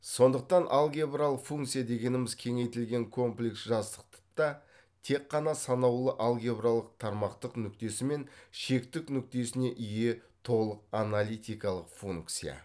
сондықтан алгебралық функция дегеніміз кеңейтілген комплекс жазықтық та тек қана санаулы алгебралық тармақтык нүктесі мен шектік нүктесіне ие толық аналитикалық функция